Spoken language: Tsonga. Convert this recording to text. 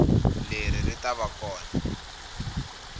leri ri ta va kona